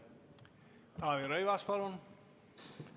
Taavi Rõivas, palun!